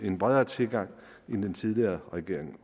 en bredere tilgang end den tidligere regering